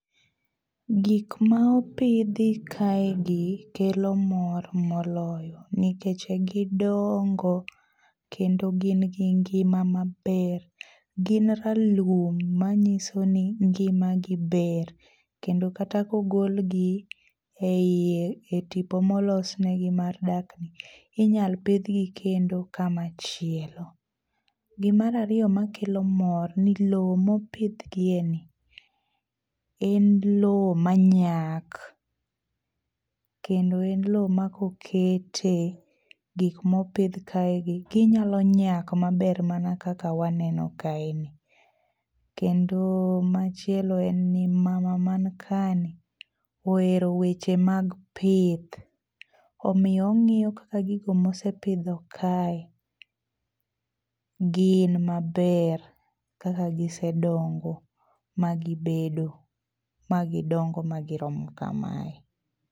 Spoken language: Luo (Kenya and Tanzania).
Gik ma opidhi kaegi kelo mor moloyo nikech gidongo kendo gin gi ngima maber. Gin ra lum manyisoni ngima gi ber kendo kata kogolgi eiye etipo molosnegi mar dakni inyal pidhgi kendo kama chielo. Gi mara ariyo makelo mor, loo mopidhgieni en loo manyak kendo en loo makokete gik mopidh kaegi ginyalo nyak maber mana kaka waneno kaeni. Kendo machielo en ni mama man kaeni ohero weche mag pith omiyo ong'iyo kaka gigo mosepidho kae gin maber kaka gisebedo magi dongo ma giromo kamae.